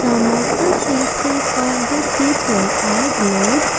Some of the faces of the people are blurred.